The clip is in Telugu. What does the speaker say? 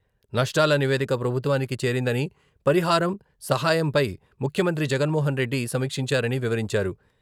నష్టాల నివేదిక ప్రభుత్వానికి చేరిందని.. పరిహారం, సహాయంపై ముఖ్యమంత్రి జగన్మోహన్ రెడ్డి సమీక్షించారని వివరించారు.